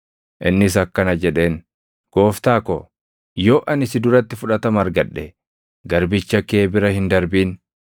Innis akkana jedheen; “Gooftaa ko, yoo ani si duratti fudhatama argadhe, garbicha kee bira hin darbin.